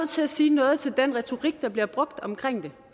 til at sige noget til den retorik der bliver brugt omkring det